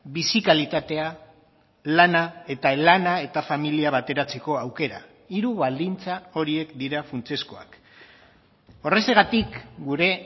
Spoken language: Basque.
bizi kalitatea lana eta lana eta familia bateratzeko aukera hiru baldintza horiek dira funtsezkoak horrexegatik gure